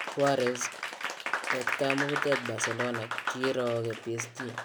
Suarez: Wektaa muketut Barcelona kirooke PSG